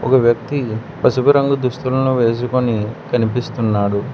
ఒక వ్యక్తి పసుపు రంగు దుస్తులను వేసుకొని కనిపిస్తున్నాడు.